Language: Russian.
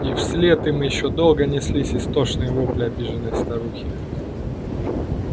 и вслед им ещё долго неслись истошные вопли обиженной старухи